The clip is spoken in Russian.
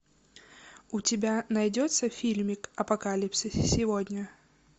у тебя найдется фильмик апокалипсис сегодня